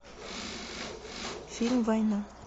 фильм война